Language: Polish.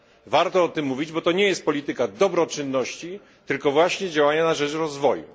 Warto o tym mówić, bo to nie jest polityka dobroczynności, tylko właśnie działania na rzecz rozwoju.